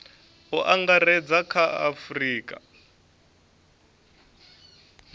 u angaredza kha a afurika